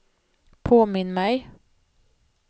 påminn mig